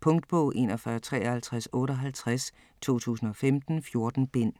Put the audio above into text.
Punktbog 415358 2015. 14 bind.